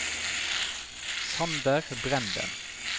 Sander Brenden